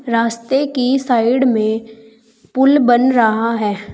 रास्ते की साइड में पुल बन रहा है।